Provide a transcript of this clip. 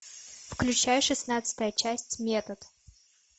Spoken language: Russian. включай шестнадцатая часть метод